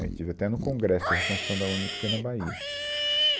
Eu estive até no Congresso de Reconstrução da UNE, que foi na Bahia.